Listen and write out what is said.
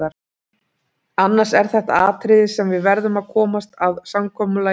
Annars er þetta atriði sem við verðum að komast að samkomulagi um.